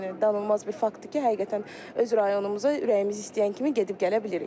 Yəni danılmaz bir faktdır ki, həqiqətən öz rayonumuza ürəyimiz istəyən kimi gedib gələ bilirik.